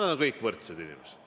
Nad on kõik võrdsed.